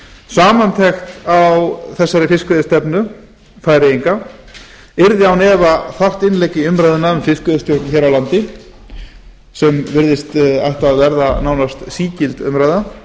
samantekt á fiskveiðistefnu færeyinga yrði án efa þarft innlegg í umræðuna um fiskveiðistjórn hér á landi sem virðist ætla að verða nánast sígild umræða